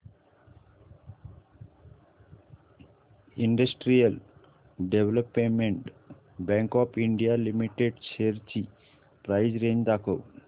industrial development bank of India limited shares ची price range दाखव